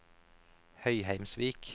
Høyheimsvik